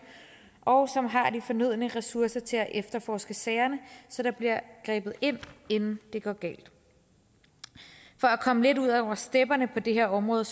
og som har de fornødne ressourcer til at efterforske sagerne så der bliver grebet ind inden det går galt for at komme lidt ud over stepperne på det her område